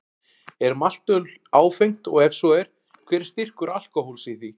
Er maltöl áfengt og ef svo er, hver er styrkur alkóhóls í því?